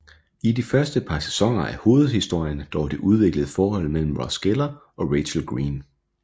I de første par sæsoner er hovedhistorien dog det udviklende forhold mellem Ross Geller og Rachel Green